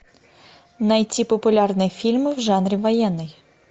найти популярные фильмы в жанре военный